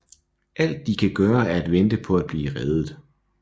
Alt de kan gøre er at vente på at blive reddet